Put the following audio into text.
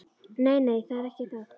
Nei, nei, það er ekki það.